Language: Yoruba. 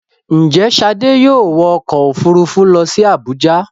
Ǹjẹ́ Ṣadé yóò wọ ọkọ̀-òfurufú lọ sí Àbújá.